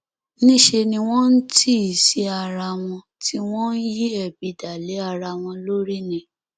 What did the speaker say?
níṣẹ ni wọn ń tì í sí ara wọn tí wọn ń yí ebi dá lé ara wọn lórí ni